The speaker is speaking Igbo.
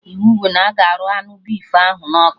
Iwu bụ na-aga arụ anụ efi ahụ na ọkụ!